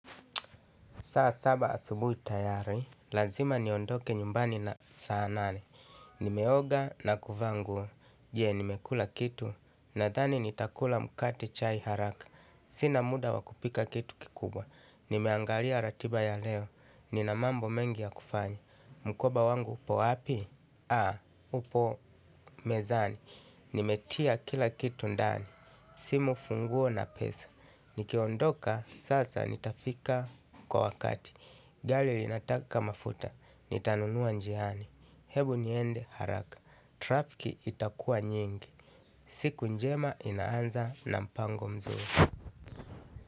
Saa saba asubuhi tayari, lazima niondoke nyumbani na saa nane. Nimeoga na kuvaa nguo, je nimekula kitu, nadhani nitakula mkate chai haraka. Sina muda wa kupika kitu kikubwa. Nimeangalia ratiba ya leo, nina mambo mengi ya kufanya. Mkoba wangu upo wapi? Upo mezani. Nimetia kila kitu ndani, simu funguo na pesa. Nikiondoka, sasa nitafika kwa wakati. Gari linataka mafuta, nitanunua njiani. Hebu niende haraka, trafiki itakuwa nyingi. Siku njema inaanza na mpango mzuri.